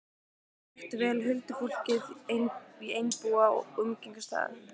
Þær þekktu vel huldufólkið í Einbúa og umgengust það.